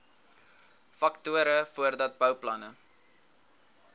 faktore voordat bouplanne